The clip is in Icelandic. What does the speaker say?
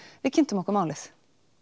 við kynntum okkur málið